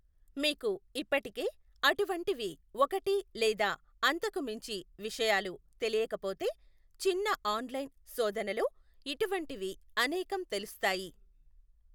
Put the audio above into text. మీకు ఇప్పటికే అటువంటివి ఒకటి లేదా అంతకు మించి విషయాలు తెలియకపోతే, చిన్న ఆన్లైన్ శోధనలో ఇటువంటివి అనేకం తెలుస్తాయి.